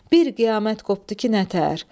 Bir qiyamət qopdu ki, nətər?